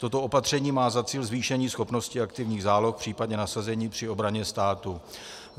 Toto opatření má za cíl zvýšení schopnosti aktivních záloh, případně nasazení při obraně státu.